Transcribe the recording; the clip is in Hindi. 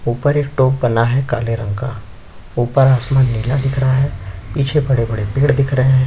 ऊपर एक टॉप बना है काले रंग का ऊपर आसमान नीला दिख रहा है पीछे बड़े - बड़े पेड़ दिख रहे है।